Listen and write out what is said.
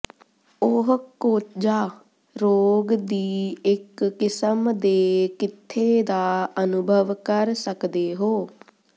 ਉਹ ਕੋਝਾ ਰੋਗ ਦੀ ਇੱਕ ਕਿਸਮ ਦੇ ਕਿੱਥੇ ਦਾ ਅਨੁਭਵ ਕਰ ਸਕਦੇ ਹੋ